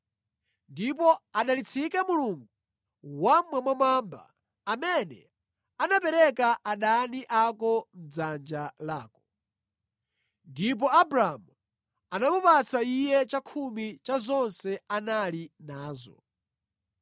Ndipo adalitsike Mulungu Wammwambamwamba amene anapereka adani ako mʼdzanja lako.” Ndipo Abramu anamupatsa iye chakhumi cha zonse anali nazo.